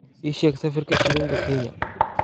ii sheeg sarifka shilinka kenya